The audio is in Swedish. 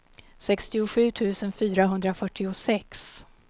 sextiosju tusen fyrahundrafyrtiosex